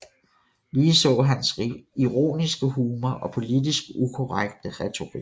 Ligeså hans ironiske humor og politisk ukorrekte retorik